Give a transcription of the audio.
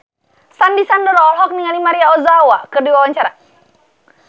Sandy Sandoro olohok ningali Maria Ozawa keur diwawancara